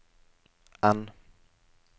N